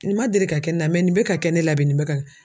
Nin man deli ka kɛ ne la nin bɛ ka kɛ ne la bi nin bɛ ka